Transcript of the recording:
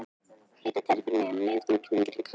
Heyri þær fyrir mér um leið og ég hneigi mig á alla kanta.